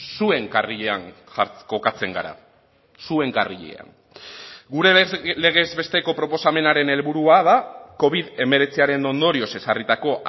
zuen karrilean kokatzen gara zuen karrilean gure legez besteko proposamenaren helburua da covid hemeretziaren ondorioz ezarritako